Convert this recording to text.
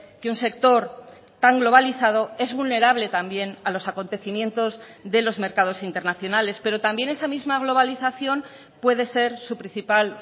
que un sector tan globalizado es vulnerable también a los acontecimientos de los mercados internacionales pero también esa misma globalización puede ser su principal